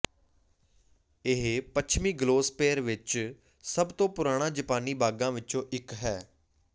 ਇਹ ਪੱਛਮੀ ਗਲੋਸਪੇਰ ਵਿੱਚ ਸਭ ਤੋਂ ਪੁਰਾਣਾ ਜਪਾਨੀ ਬਾਗਾਂ ਵਿੱਚੋਂ ਇੱਕ ਹੈ